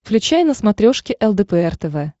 включай на смотрешке лдпр тв